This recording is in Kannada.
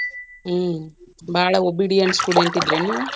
ಹ್ಮ್ ಬಾಳ obedient student ಇದ್ರೇನ ನೀವ್?